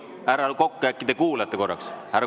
Härra Kokk, äkki te kuulate korraks?